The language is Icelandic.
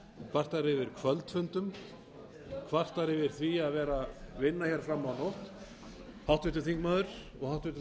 kvartar yfir kvöldfundum kvartar yfir því að þurfa að vinna fram á nótt háttvirtur þingmaður og hæstvirtur forseti